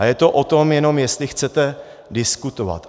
A je to o tom jenom, jestli chcete diskutovat.